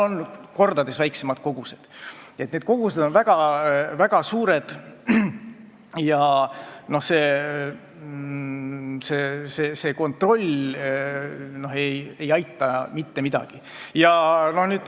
Need kogused on väga suured ja see kontroll ei aita mitte midagi.